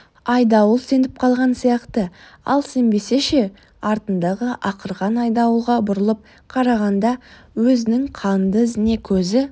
айдауыл сеніп қалған сияқты ал сенбесе ше артындағы ақырған айдауылға бұрылып қарағанда өзінің қанды ізіне көзі